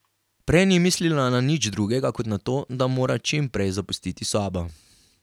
Prej ni mislila na nič drugega kot na to, da mora čim prej zapustiti sobo.